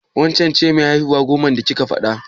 Waccen ce mai haihuwa goman da kike faɗa?